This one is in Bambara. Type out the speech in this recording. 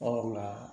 Ɔ